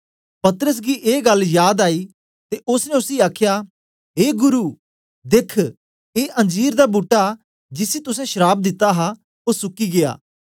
पतरस गी ऐ गल जाद आई ते ओसने उसी आखया ए गुरु देख ए अंजीर दा बूट्टा जिसी तुसें श्राप दिता हा ओ सुकी गीया